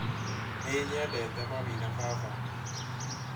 Nĩ nyendete mami na baba